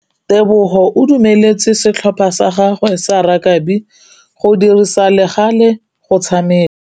Tebogô o dumeletse setlhopha sa gagwe sa rakabi go dirisa le galê go tshameka.